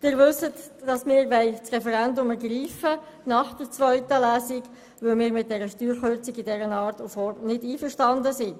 Die Grossräte wissen, dass wir das Referendum nach der zweiten Lesung ergreifen wollen, weil wir mit der Art und Form dieser Steuerkürzung nicht einverstanden sind.